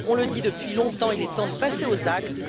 on le dit depuis longtemps, il est temps de passer aux actes.